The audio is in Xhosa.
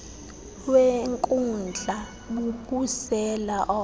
wenkundla bubusela obo